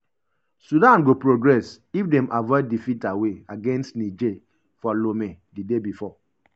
sudan go progress if dem avoid defeat ‘away’ against niger for lome di day bifor.